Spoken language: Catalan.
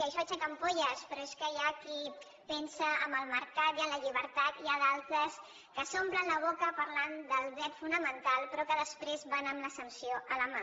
això aixeca ampolles però és que hi ha qui pensa en el mercat i en la llibertat i n’hi ha d’altres que s’omplen la boca parlant del dret fonamental però que després van amb la sanció a la mà